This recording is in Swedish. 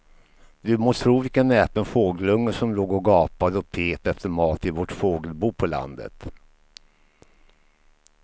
Du må tro vilken näpen fågelunge som låg och gapade och pep efter mat i vårt fågelbo på landet.